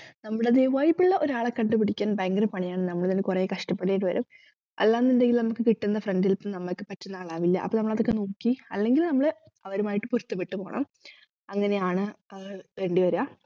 നമ്മുടെ അതെ vibe ഉള്ള ഒരാളെ കണ്ടുപിക്കാൻ ഭയങ്കര പണിയാണ് നമ്മളെന്നെ കൊറേ കഷ്ടപ്പെടേണ്ടി വരും അല്ലാന്നുണ്ടെങ്കിൽ നമ്മക്ക് കിട്ടുന്ന friend ൽ ഇപ്പം നമ്മക്ക് പറ്റുന്ന ആളാവില്ല അപ്പൊ നമ്മളതൊക്കെ നോക്കി അല്ലെങ്കിൽ നമ്മൾ അവരുമായിട്ട് പൊരുത്തപ്പെട്ടു പോണം അങ്ങനെയാണ് ഏർ വേണ്ടി വരുക